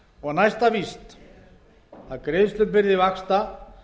og það er næsta víst að greiðslubyrði vaxta